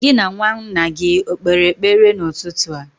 Gị na nwa nna gị o kpere ekpere n'ụtụtụ a?